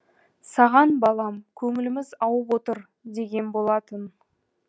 саған балам көңіліміз ауып отыр деген болатын